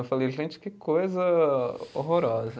Eu falei, gente, que coisa horrorosa.